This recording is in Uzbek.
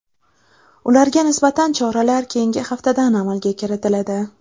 Ularga nisbatan choralar keyingi haftadan amalga kiritiladi.